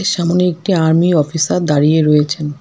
সামনে একটি army officer দাঁড়িয়ে রয়েছেন।